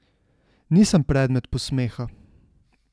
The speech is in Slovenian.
Nisem predmet posmeha.